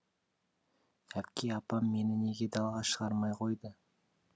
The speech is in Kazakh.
әпке апам мені неге далаға шығармай қойды